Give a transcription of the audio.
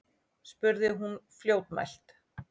spurði hún fljótmælt.